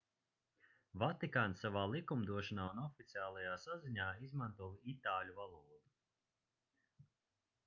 vatikāns savā likumdošanā un oficiālajā saziņā izmanto itāļu valodu